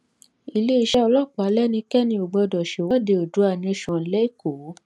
iléeṣẹ́ ọlọ́pàá lẹ́nikẹ́ni ò gbọdọ̀ ṣèwọ́de oòduà nation lÉkòó